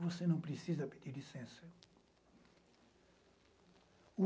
Você não precisa pedir licença.